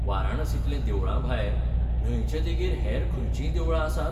वाराणसींतल्या देवळां भायर न्हंयचे देगेर हेर खंयचींय देवळां आसात?